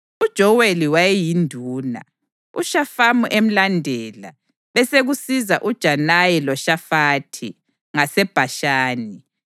UJoweli wayeyinduna, uShafamu emlandela, besekusiza uJanayi loShafathi, ngaseBhashani.